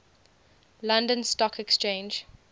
london stock exchange